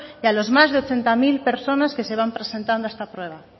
que a los más de ochenta mil personas que se van presentando a esta prueba